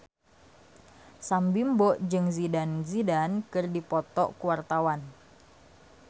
Sam Bimbo jeung Zidane Zidane keur dipoto ku wartawan